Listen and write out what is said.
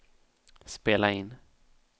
spela in